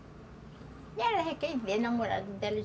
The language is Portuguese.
E ela já quer ir ver o namorado dela.